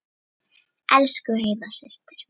Elsku Heiða systir.